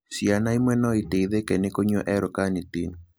Ciana imwe no iteithĩke nĩ kũnyua L carnitine.